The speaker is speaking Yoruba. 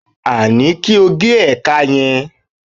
a ni kí o ge ẹka yẹn